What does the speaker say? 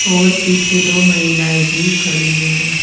और पीछे दो महिलाएं भी खड़ी है।